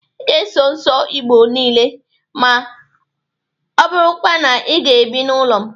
Ị ga-asọ nsọ Igbo niile ma ọ bụrụkwa na ị ga-ebi n'ụlọ m!